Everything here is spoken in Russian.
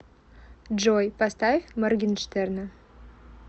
джой поставь моргинштерна